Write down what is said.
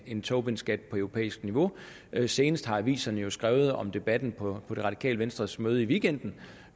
en tobinskat på europæisk niveau senest har aviserne jo skrevet om debatten på det radikale venstres møde i weekenden